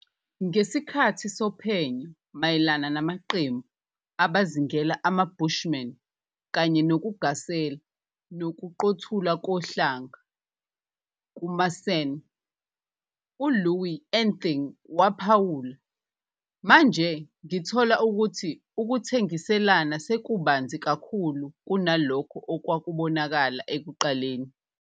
Ngesikhathi sophenyo mayelana namaqembu "abazingela ama-bushman" kanye nokugasela kokuqothulwa kohlanga kumaSan, uLouis Anthing waphawula - "Manje ngithola ukuthi ukuthengiselana sekubanzi kakhulu kunalokho okwakubonakala ekuqaleni.